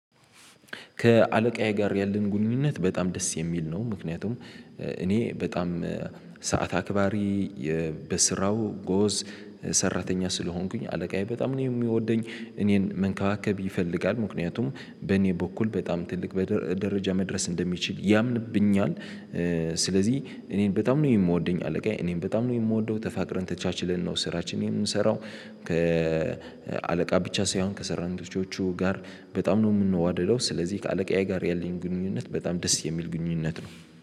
ከአለቃዬ ጋር ያለን ግንኙነት በጣም ደስ የሚል ነው። ምክንያቱም እኔ በጣም ሰዓት አክባሪ፣ በስራው ጎበዝ ሰራተኛ ስለሆንኩኝ፤ አለቃዬ በጣም ነው የሚወደኝ። እኔን መንከባከብ ይፈልጋል ምክንያቱም በኔ በኩል በጣም ትልቅ በደ ደረጃ መድረስ እንደሚችል ያምንብኛል። ስለዚህ እኔን በጣም ነው የሚወደኝ አለቃዬ፤ እኔም በጣም ነው የምወደው፤ ተፋቅረን ተቻችልን ነው ስራችንን የምንሰራው። ከአለቃ ብቻ ሳይሆን ከሰራንቶቹ ጋር በጣም ነው የምንዋደደው። ስለዚህ ከአለቃዬ ጋር ያለኝ ግንኙነት በጣም ደስ የሚል ግንኙነት ነው።